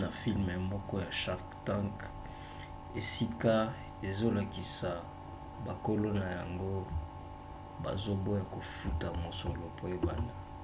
na filme moko ya shark tank esika ezolakisa bakolo na yango bazoboya kofuta mosolo po ebanda